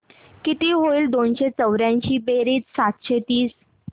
किती होईल दोनशे चौर्याऐंशी बेरीज सातशे तीस